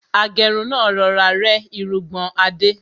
Agẹ́run náà rọra rẹ́ irungbọ̀n Adé.